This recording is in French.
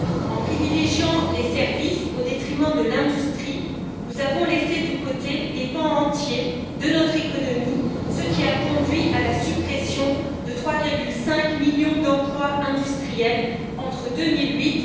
En privilégiant les services au détriment de l'industrie, nous avons laissé de côté des pans entiers de notre économie, ce qui a conduit à la suppression de 3,5 millions d'emplois industriels entre 2008